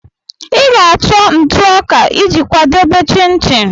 Ị ga-achọ ntụ ọka iji kwadebe chin-chin